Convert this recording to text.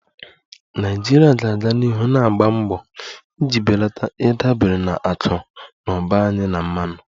Nigeria ga-aga n'ihu na-agba mbọ iji belata ịdabere na akụ na ụba anyị na mmanụ